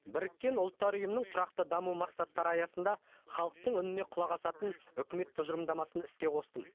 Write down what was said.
біріккен ұлттар ұйымының тұрақты даму мақсаттары аясында халықтың үніне құлақ асатын үкімет тұжырымдамасын іске қостым